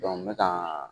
n bɛ ka